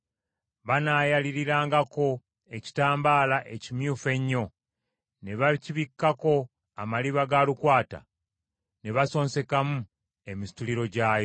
Banaayaliirangako ekitambaala ekimyufu ennyo, ne bakibikkako amaliba ga lukwata; ne basonsekamu emisituliro gyayo.